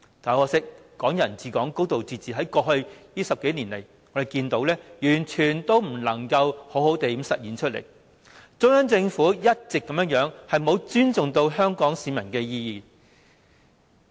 很可惜，"港人治港"、"高度自治"在過去10多年完全未能好好落實，中央政府一直沒有尊重香港市民的意願。